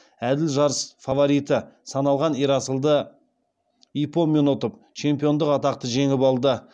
әділ жарыс фавориті саналған ерасылды иппонмен ұтып чемпиондық атақты жеңіп алды